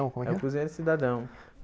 É o Cozinheiro Cidadão.